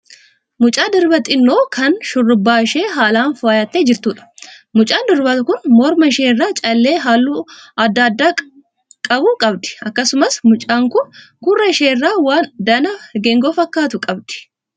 Mucaa durbaa xinnoo kan shurrabbaa ishee haalaan fooyattee jirtuudha. Mucaan durbaa kun morma ishee irraa callee halluu adda addaa qabu qabdi. Akkasumas mucaan kun gurra ishee irraa waan danaa geengoo fakkaatu qabdi.